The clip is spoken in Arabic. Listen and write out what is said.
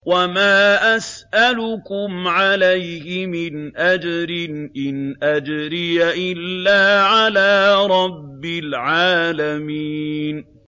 وَمَا أَسْأَلُكُمْ عَلَيْهِ مِنْ أَجْرٍ ۖ إِنْ أَجْرِيَ إِلَّا عَلَىٰ رَبِّ الْعَالَمِينَ